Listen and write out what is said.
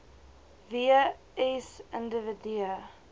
w s individue